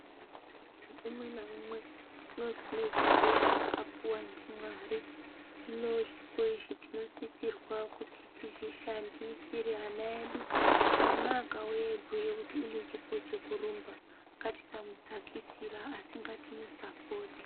Amweni umwe naunwe unozi unechipochaakapuwa ndimwari. Hino zvipo izvi tinosisirwa kuti tizvishandisire ana edu, mwana akauye aibhuye kuti unechipo chekurumba ngatisamudzakisira asi ngatimusapote.